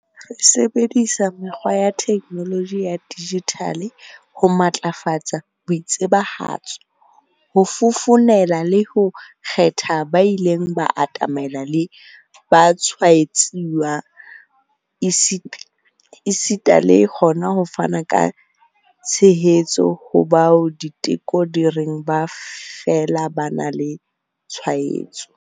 Re sebedisa mekgwa ya theknoloji ya dijithale ho matlafatsa boitsebahatso, ho fofonela le ho kgethela ba ileng ba atamelana le batshwaetsuwa, esita le hona ho fana ka tshehetso ho bao diteko di reng ba fela ba na le tshwaetso.